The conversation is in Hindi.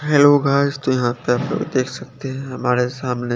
हेलो गाइस तो यहाँ पर देख सकते है हमारे सामने--